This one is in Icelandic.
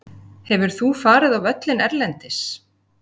Hefur þú farið á völlinn erlendis?